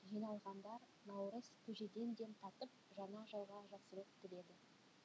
жиналғандар наурыз көжеден де татып жаңа жылға жақсылық тіледі